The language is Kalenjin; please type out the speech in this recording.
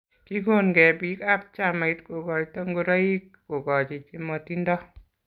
Kigon nge biik ab chamait kokoito ngoiroik kokochi chimotindo